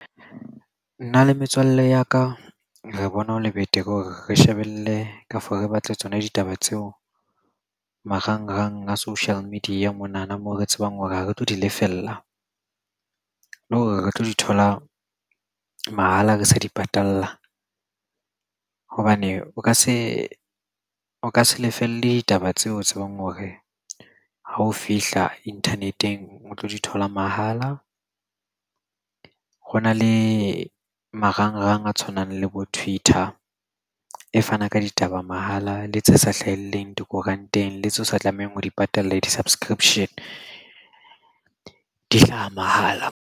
Nna le metswalle ya ka re bona ho le betere hore re shebelle ka for re batle tsona ditaba tseo marangrang a social media monana moo re tsebang hore ha re tlo di lefella. Le hore re tlo di thola mahala re sa di patalla hobane o ka se o ka se lefelle taba tseo o tsebang hore ha o fihla internet-eng o tlo dithola mahala. Ho na le marangrang a tshwanang le bo Twitter e fana ka ditaba mahala le tse sa hlaheleng dikoranteng le tseo sa tlamehang ho di patala di-subscription di hlaha mahala.